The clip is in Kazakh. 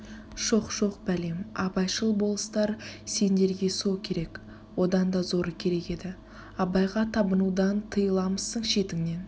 шоқ-шоқ бәлем абайшыл болыстар сендерге со керек одан да зоры керек еді абайға табынудан тыйыламысың шетіңнен